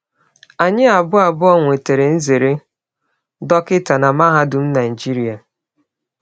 Anyị abụọ abụọ nwetara nzere dọkịta na Mahadum Naịjirịa.